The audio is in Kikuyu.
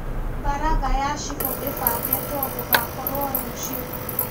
Mbaratha ya cibũ ĩbangĩtwo gũgakorwo rũciũ